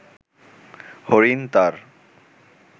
হরিণ তার